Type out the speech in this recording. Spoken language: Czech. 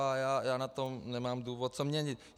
A já na tom nemám důvod co měnit.